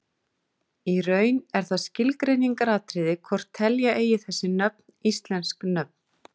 Í raun er það skilgreiningaratriði hvort telja eigi þessi nöfn íslensk nöfn.